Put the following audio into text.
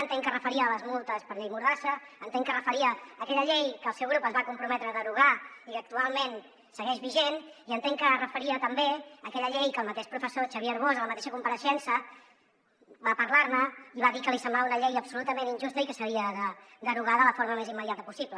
entenc que es referia a les multes per llei mordassa entenc que es referia a aquella llei que el seu grup es va comprometre a derogar i que actualment segueix vigent i entenc que es referia també a aquella llei que el mateix professor xavier arbós en la mateixa compareixença va parlar ne i va dir que li semblava una llei absolutament injusta i que s’havia de derogar de la forma més immediata possible